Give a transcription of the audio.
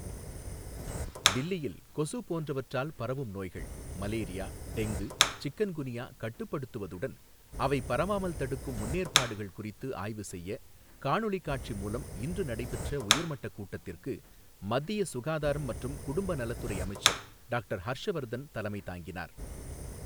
டில்லியில் கொசு போன்றவற்றால் பரவும் நோய்கள் மலேரியா, டெங்கு, சிக்கன் குனியா கட்டுப்படுத்துவதுடன், அவை பரவாமல் தடுக்கும் முன்னேற்பாடுகள் குறித்து ஆய்வு செய்ய காணொலி காட்சி மூலம் இன்று நடைபெற்ற உயர்மட்டக் கூட்டத்திற்கு மத்திய சுகாதாரம் மற்றும் குடும்ப நலத்துறை அமைச்சர் டாக்டர் ஹர்ஷவர்தன் தலைமை தாங்கினார்.